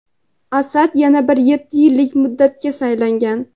Asad yana bir yetti yillik muddatga saylangan.